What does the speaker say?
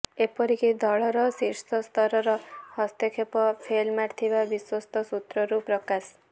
ଏପରିକି ଦଳର ଶୀର୍ଷସ୍ତରର ହସ୍ତକ୍ଷେପ ଫେଲ୍ ମାରିଥିବା ବିଶ୍ୱସ୍ତ ସୂତ୍ରରୁ ପ୍ରକାଶ